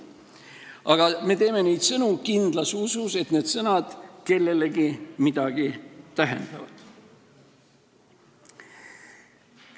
Aga me teeme neid sõnu kindlas usus, et need sõnad kellelegi midagi tähendavad.